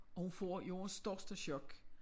Og hun får jordens største chok